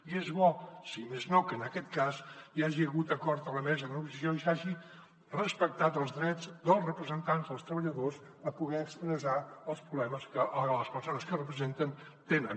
i és bo si més no que en aquest cas hi hagi hagut acord a la mesa de negociació i s’hagin respectat els drets dels representants dels treballadors a poder expressar els problemes que les persones a què representen tenen